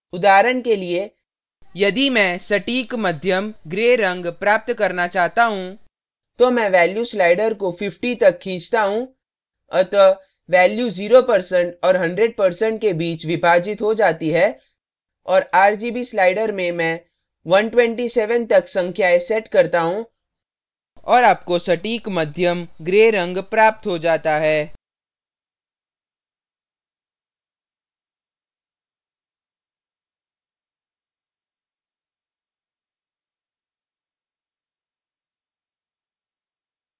उदाहरण के लिए यदि मैं सटीक मध्यम gray रंग प्राप्त करना चाहता हूँ तो मैं value value slider को 50 तक खींचता हूँ अतः value value 0% और 100% के बीच विभाजित हो जाती है और rgb slider में मैं 127 तक संख्याएं set करता हूँ और आपको सटीक मध्यम gray रंग प्राप्त हो जाता है